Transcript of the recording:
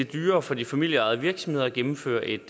dyrere for de familieejede virksomheder at gennemføre et